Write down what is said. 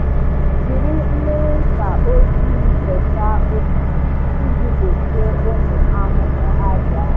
Jiri mmiri ncha ojii fesaa osisi iji gbochie ụmụ ahụhụ àjà.